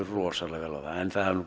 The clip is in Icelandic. rosalega vel á það en það hefur